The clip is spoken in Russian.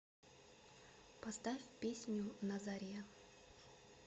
поставь песню на заре